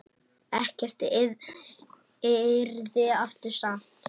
Ekkert yrði aftur samt.